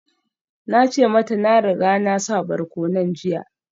Na ce mata na riga na sa barkonon jiya